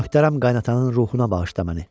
Möhtərəm qaynananın ruhuna bağışla məni.